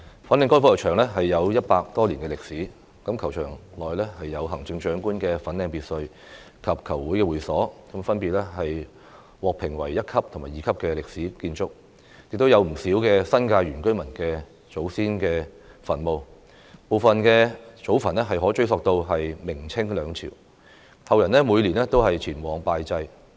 粉嶺高爾夫球場有100多年歷史，球場內有行政長官粉嶺別墅及球會會所，分別獲評為一級及二級歷史建築，亦有不少新界原居民祖先墳墓，部分祖墳可追溯至明、清兩朝，後人每年都前往拜祭。